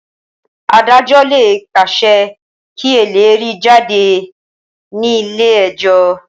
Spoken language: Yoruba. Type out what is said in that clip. Adájọ́ ló lè pàṣẹ kí elérìí jáde ní ilé ẹjọ́.